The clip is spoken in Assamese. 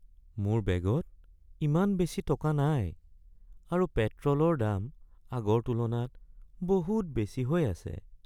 মোৰ বেগত ইমান বেছি টকা নাই আৰু পেট্ৰলৰ দাম আগৰ তুলনাত বহুত বেছি হৈ আছে।